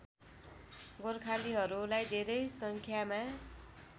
गोर्खालीहरूलाई धेरै सङ्ख्यामा